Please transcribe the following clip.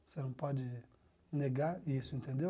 Você não pode negar isso, entendeu?